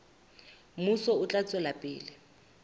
mmuso o tla tswela pele